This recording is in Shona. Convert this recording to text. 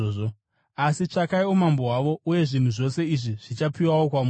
Asi tsvakai umambo hwavo, uye zvinhu zvose izvi zvichapiwawo kwamuri.